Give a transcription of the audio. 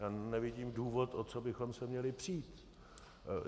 Já nevidím důvod, o co bychom se měli přít.